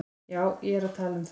Já, ég er að tala um það.